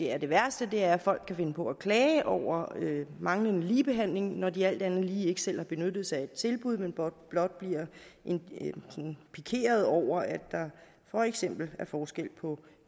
er det værste er at folk kan finde på at klage over manglende ligebehandling når de alt andet lige ikke selv har benyttet sig af et tilbud men blot blot bliver pikeret over at der for eksempel er forskel på